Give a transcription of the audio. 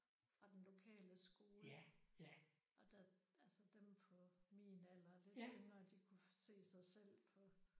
Fra den lokale skole. Og der altså dem på min alder og lidt yngre de kunne se sig selv på